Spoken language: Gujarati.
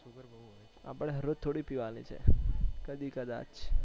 આપણે હાર રોજ થોડી પીવાની છે કદી કદાચ